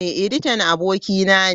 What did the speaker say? Editan abokina ne.